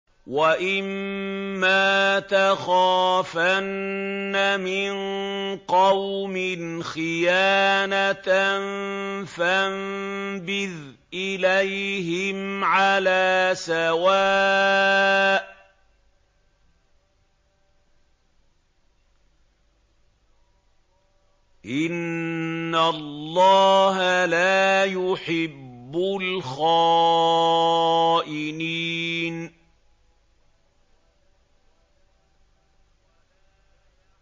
وَإِمَّا تَخَافَنَّ مِن قَوْمٍ خِيَانَةً فَانبِذْ إِلَيْهِمْ عَلَىٰ سَوَاءٍ ۚ إِنَّ اللَّهَ لَا يُحِبُّ الْخَائِنِينَ